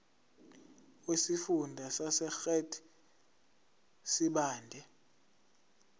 wesifunda sasegert sibande